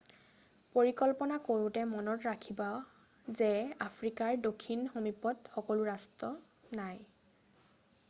পৰিকল্পনা কৰোঁতে মনত ৰাখিব যে আফ্ৰিকাৰ দক্ষিণ সমীপত সকলো ৰাষ্ট্ৰ নাই